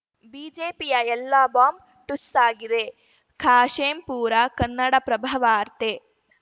ಬಿಜೆಪಿಯ ಎಲ್ಲ ಬಾಂಬ್‌ ಠುಸ್ಸಾಗಿವೆ ಖಾಶೆಂಪೂರ ಕನ್ನಡಪ್ರಭ ವಾರ್ತೆ